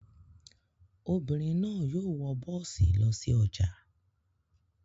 Obìnrin náà yóò wọ bọ́ọ́sì lọ sí ọjà.